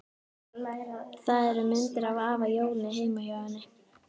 Það eru myndir af afa Jóni heima hjá henni.